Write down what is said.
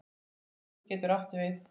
Vaskur getur átt við